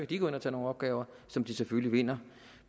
de gå ind og tage nogle opgaver som de selvfølgelig vinder